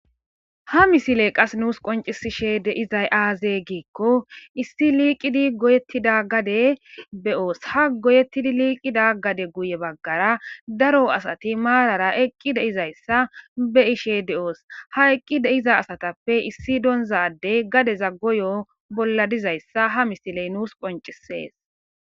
ha misiley qas nuus qoncisishe deizay aaze giikko issi liiqidi goyettida gade be7oos ha goyettidi liiqida gade guye baggara daro asati maarara eqqi deizayssa be ishe de7oos ha eqqi deiza asatappe issi doonzadey gadeza goyo bolla dizayssa ha misiley nuus qoncisees